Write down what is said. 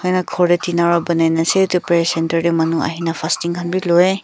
ena ghor te tina ra banai ne ase etu prayer centre te manu ahine fasting khan bi lui.